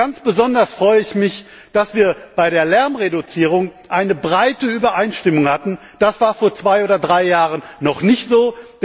Und ganz besonders freue ich mich, dass wir bei der Lärmreduzierung eine breite Übereinstimmung hatten, das war vor zwei oder drei Jahren noch nicht so.